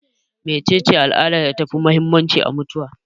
Me cece al'adar da ta fi muhimmanci a mutuwa?